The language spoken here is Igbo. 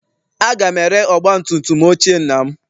Aga m ere ọgbatumtum ochie nna m.